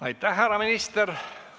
Aitäh, härra minister!